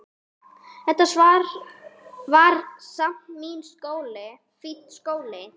Þetta var samt fínn skóli.